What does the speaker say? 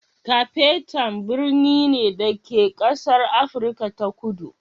Cape Town birni ne, da ke a ƙasar Afirka ta Kudu.